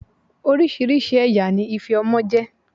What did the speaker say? Oríṣiríṣi ẹ̀yà ni ife ọmọ jẹ́.